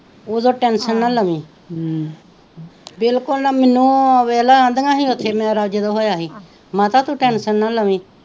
ਉਦੋਂ ਟੈਂਸ਼ਨ ਨਾਂ ਲਵੀ ਵਿਲਕੂਲ ਨਾਂ ਹਮ ਮੈਂਨੂੰ ਵੇਖ ਲੈ ਕਹਿੰਦਿਆ ਹੀ ਓਥੇ ਮੇਰਾ ਜਦੋਂ ਹੋਏਆ ਹੀ ਮਾਤਾ ਤੂ ਟੈਂਸ਼ਨ ਨਾਂ ਲਵੀ,